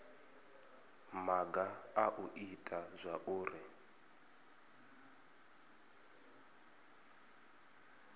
maga a u ita zwauri